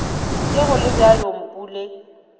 ge go le bjalo mpule